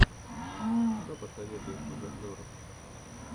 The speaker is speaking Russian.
что посоветуешь из обзоров